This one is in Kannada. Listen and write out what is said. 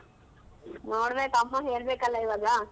ನೋಡ್ಬೇಕು ಅಮ್ಮಂಗ್ ಹೇಳ್ಬೇಕಲ್ಲ ಇವಾಗ.